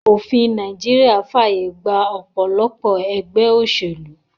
Òfin Naijiria fàyè gba òpòlopò egbé òsèlú